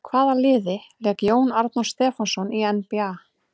Með hvaða liði lék Jón Arnór Stefánsson í NBA?